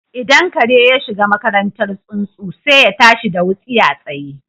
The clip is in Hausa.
Idan kare ya shiga makarantar tsuntsu, sai ya tashi da wutsiya tsaye